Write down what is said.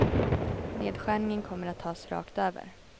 Nedskärningen kommer att tas rakt över.